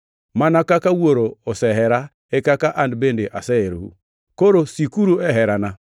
“Mana kaka Wuoro osehera, e kaka an bende aseherou. Koro sikuru e herana.